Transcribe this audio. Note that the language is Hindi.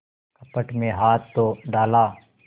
कपट में हाथ तो डाला